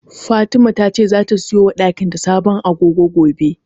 Fatima tace zata siyo wa dakin ta sabon agogo gobe.